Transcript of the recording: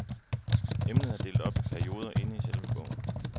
Emnet er delt op i perioder inde i selve bogen.